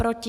Proti?